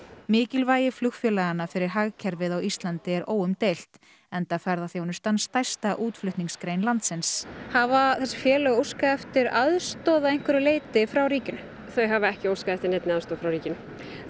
mikilvægi flugfélaganna fyrir hagkerfið á Íslandi er óumdeilt enda ferðaþjónustan stærsta útflutningsgrein landsins hafa þessi félög óskað eftir aðstoð að einhverju leyti frá ríkinu þau hafa ekki óskað eftir neinni aðstoð frá ríkinu